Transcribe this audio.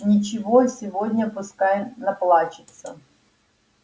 ничего сегодня пускай наплачется